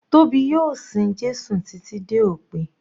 Tóbi yóò sin Jésù títí dé òpin.